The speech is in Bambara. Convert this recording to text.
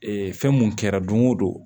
fɛn mun kɛra don o don